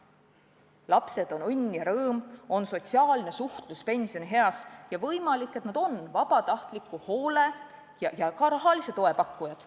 Lapsed on õnn ja rõõm, mis tagab sotsiaalse suhtluse pensionieas ja võimalik, et nad on vabatahtliku hoole ja ka rahalise toe pakkujad.